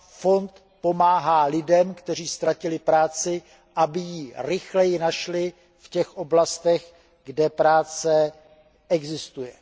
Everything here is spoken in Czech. Fond pomáhá lidem, kteří ztratili práci, aby ji rychleji našli v těch oblastech, kde práce existuje.